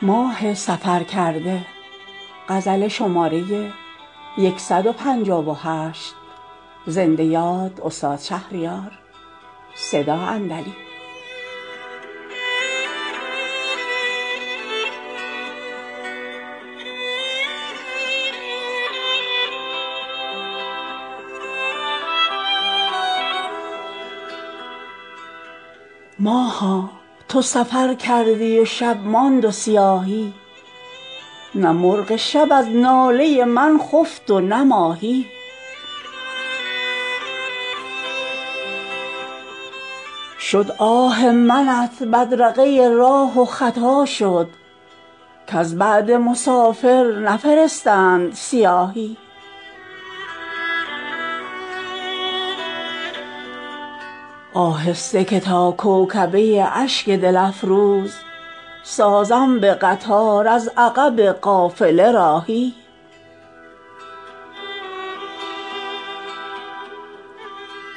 ماها تو سفر کردی و شب ماند و سیاهی نه مرغ شب از ناله من خفت و نه ماهی شد آه منت بدرقه راه و خطا شد کز بعد مسافر نفرستند سیاهی آهسته که تا کوکبه اشک دل افروز سازم به قطار از عقب قافله راهی خواهم به گدایی به در غرفه ات آیم آنجا که تو منزل کنی ای شاه به شاهی در آه فرود آی تواند که دلی بود ترسم که شود آینه حسن تو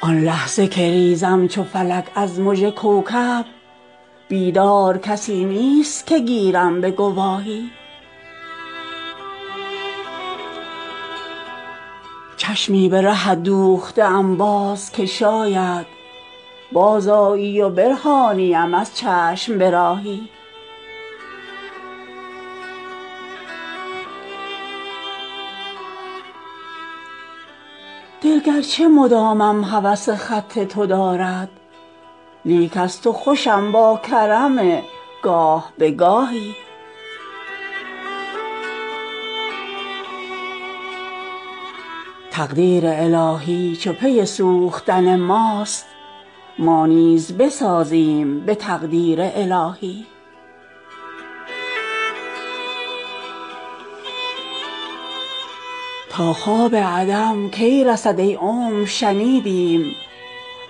آهی آن لحظه که ریزم چو فلک از مژه کوکب بیدار کسی نیست که گیرم به گواهی تا صبح من و شمع نخفتیم ولیکن شرح شب هجر تو نگفتیم کماهی زآن خاطره تا خون نشود خاطرم ای شوخ دیگر نگذشتیم به خیابان رفاهی چشمی به رهت دوخته ام باز که شاید بازآیی و برهانیم از چشم به راهی دل گرچه مدامم هوس خط تو دارد لیک از تو خوشم با کرم گاه به گاهی تا زلف توام باز نوازد به نسیمی چون شعله لرزنده شمعم به تباهی تقدیر الهی چو پی سوختن ماست ما نیز بسازیم به تقدیر الهی تا خواب عدم کی رسد ای عمر شنیدیم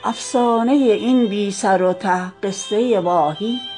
افسانه این بی سر و ته قصه واهی